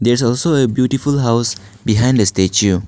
there is also a beautiful house behind the statue.